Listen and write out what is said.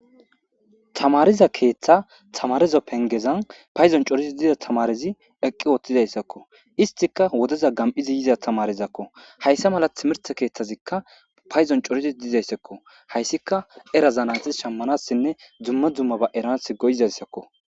tamariza keeththa tamarezo pengezan payzon corizi diza tamarezi eqqi ooththizayssakko istika wodeza gam7izi yiza tamarizakko hayssa mala timirte keeththazikka payzon corizi dizayssekko hayssika era zanati shammanassinne dzumma dzumma ba erans goyizayssakko